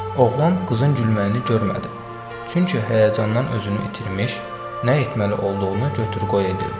Oğlan qızın gülməyini görmədi, çünki həyəcandan özünü itirmiş, nə etməli olduğunu götür-qoy edirdi.